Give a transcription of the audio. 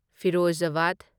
Firozabad